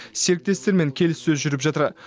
серіктестермен келіссөз жүріп жатыр